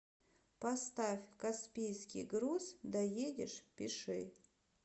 поставь каспийский груз доедешь пиши